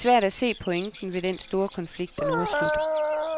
Det er svært at se pointen ved den storkonflikt, der nu er slut.